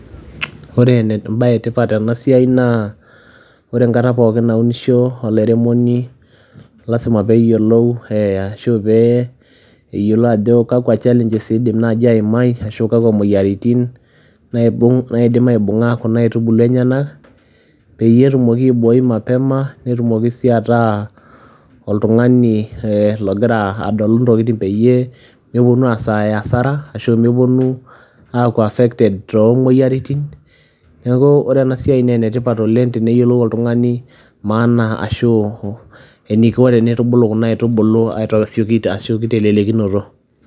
Ore ene embaye e tipat tena siai naa ore enkata pookin naunisho olairemoni lazima peeyiolou ashu pee eyiolo ajo kakua challenges iidim naaji aimai ashu kakua moyiaritin naibung' naidim aibung'a kuna aitubulu enyenak peyie etumoki aiboi mapema, netumoki sii ataa oltung'ani ee logira adolu intokitin peyie meponu aasaya hasara ashu meponu aaku affected too moyiaritin. Neeku ore ena siai nee ene tipat oleng' teneyiolou oltung'ani maana ashu eniko tenitubulu kuna aitubulu asioki te siokinoto.